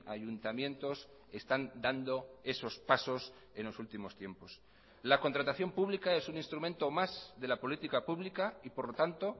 ayuntamientos están dando esos pasos en los últimos tiempos la contratación pública es un instrumento más de la política pública y por lo tanto